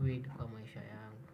weed kwa maisha yangu.